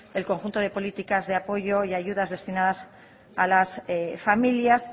el conjunto de políticas de apoyo y ayudas destinadas a las familias